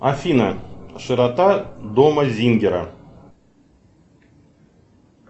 афина широта дома зингера